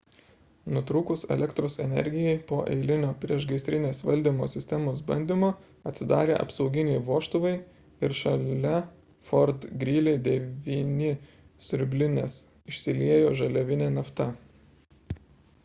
nutrūkus elektros energijai po eilinio priešgaisrinės valdymo sistemos bandymo atsidarė apsauginiai vožtuvai ir šalia fort greely 9 siurblinės išsiliejo žaliavinė nafta